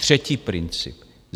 Třetí princip.